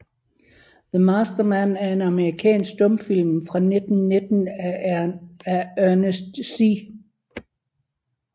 The Master Man er en amerikansk stumfilm fra 1919 af Ernest C